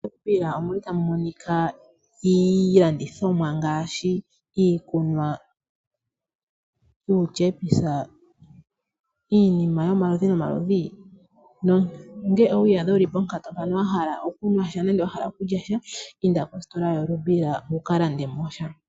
MoRubira otamu monika iilandithomwa ngaashi iikunwa, uutshepisa nongele owi iyadha wu li ponkatu mpono wa hala okunwa nenge okulya sha inda mositola yoRubira wu ka lande mo sha.